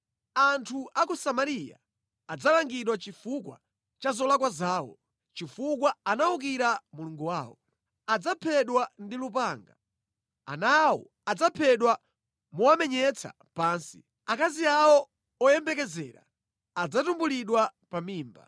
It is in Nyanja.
Anthu a ku Samariya adzalangidwa chifukwa cha zolakwa zawo, chifukwa anawukira Mulungu wawo. Adzaphedwa ndi lupanga; ana awo adzaphedwa mowamenyetsa pansi, akazi awo oyembekezera adzatumbulidwa pa mimba.”